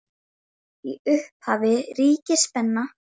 Í upphafi ríkir spenna.